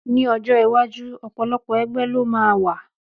Ní ọjọ́ iwájú, ọ̀pọ̀lọpọ̀ ẹgbẹ́ ló máa wà